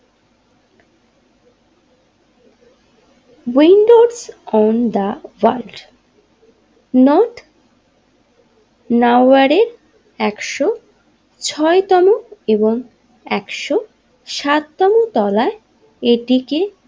Windows on the ওয়াচ North নাওয়ারের একশো ছয় তম এবং একশো সাত তম তলায় এটিকে।